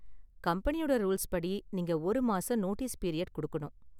கம்பெனியோட ரூல்ஸ் படி, நீங்க ஒரு மாசம் நோட்டீஸ் பீரியட் கொடுக்கணும்.